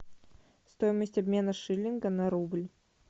стоимость обмена шиллинга на рубль